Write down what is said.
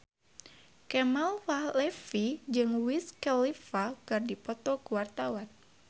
Kemal Palevi jeung Wiz Khalifa keur dipoto ku wartawan